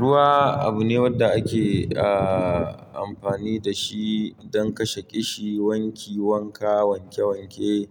Ruwa abu ne wanda ake, ah, amfani da shi don kashe ƙishi, wanki wanka, wanke wanke